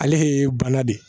Ale de ye bana de ye